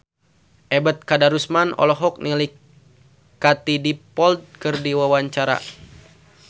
Ebet Kadarusman olohok ningali Katie Dippold keur diwawancara